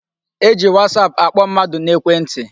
E ji whatsaap akpọ mmadụ n'ekwe ntị.